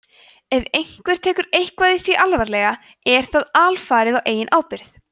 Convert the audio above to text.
ef einhver tekur eitthvað í því alvarlega er það alfarið á eigin ábyrgð